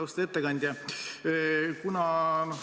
Austatud ettekandja!